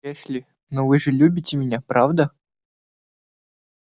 эшли но вы же любите меня правда